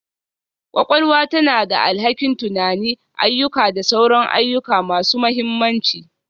Kwakwalwa tana da alhakin tunani, ayyuka da sauran ayyuka masu mahimmanci